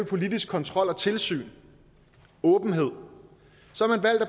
politisk kontrol og tilsyn åbenhed